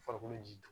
Farikolo ji don